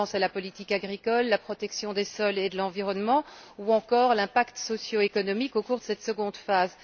Je pense à la politique agricole, à la protection des sols et de l'environnement ou encore à l'impact socio économique au cours de cette seconde phase.